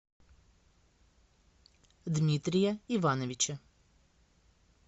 дмитрия ивановича